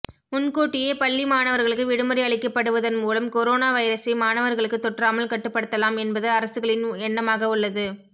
முன்கூட்டியே பள்ளி மாணவர்களுக்கு விடுமுறை அளிக்கப்படுவதன் மூலம் கொரோனா வைரசை மாணவர்களுக்கு தொற்றாமல் கட்டுப்படுத்தலாம் என்பது அரசுகளின் எண்ணமாக உள்ளது